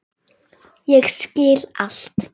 Ég skil allt!